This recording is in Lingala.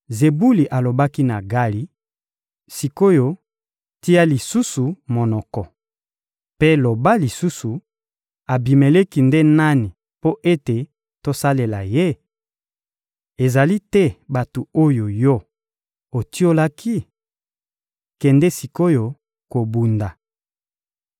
Zebuli alobaki na Gali: — Sik’oyo, tia lisusu monoko! Mpe loba lisusu: «Abimeleki nde nani mpo ete tosalela ye?» Ezali te bato oyo yo otiolaki? Kende sik’oyo kobunda!